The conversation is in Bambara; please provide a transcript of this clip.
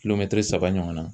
Kilomɛtiri saba ɲɔgɔnna